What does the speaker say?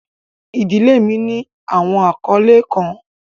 Ìdílé mi ní awọn akọle kan.